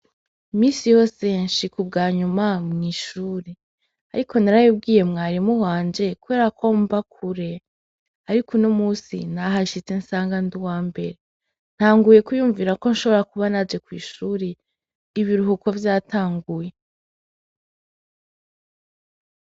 Misi hose nshi kubwa nyuma mw'ishure, ariko narayibwiye mwari muhanje kwera ko mba kure, ariko uno musi nahashitse nsanga nd' uwa mbere ntanguye kuyumvira ko nshobora kuba naje kw'ishuri ibiruhuko vyatanguye.